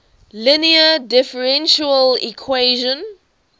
linear differential equation